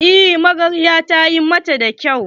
Eh magaryar ta yi mata da kyau.